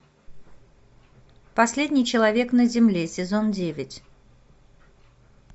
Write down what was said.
последний человек на земле сезон девять